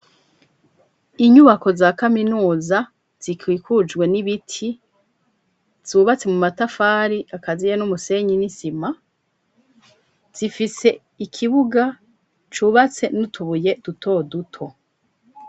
Inyubako za kaminuza zikwikujwe n'ibiti zubatse mu matafari akaziye n'umusenyi n'isima. Zifise ikibuga cubatse n'utubuye duto duto.